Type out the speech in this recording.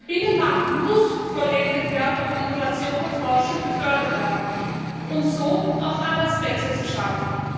Der Binnenmarkt muss vollendet werden, und Innovation und Forschung müssen gefördert werden, um so auch Arbeitsplätze zu schaffen.